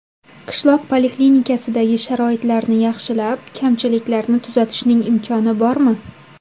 Qishloq poliklinikasidagi sharoitlarni yaxshilab, kamchiliklarni tuzatishning imkoni bormi?